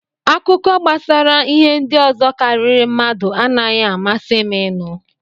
Akụkọ gbasara ihe ndị ọzọ karịrị mmadụ anaghị amasị m inu.